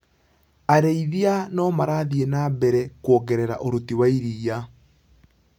Arĩithia nomarathi na mbere kuongerera ũruti wa iria.